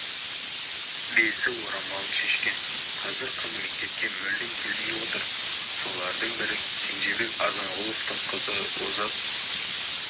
бесі орамалын шешкен қазір қыз мектепке мүлдем келмей отыр солардың бірі кенжебек азанғұловтың қызы озат